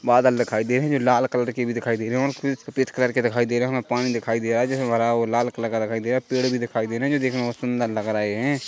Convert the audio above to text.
बादल दिखाई दे रही है जो लाल कलर के भी दिखाई दे रहे है और कुछ सफेद कलर के दिखाई दे रहे है और हमे पानी दिखाई दे रहा है जो की हरा और लाल कलर का दिखाई दे रहा है पेड़ भी दिखाई दे रहे है जो दिखने में सुंदर लग रहे हैं।